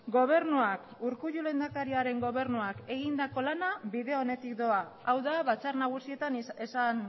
gobernuak urkullu lehendakariaren gobernuak egindako lana bide onetik doa hau da batzar nagusietan esan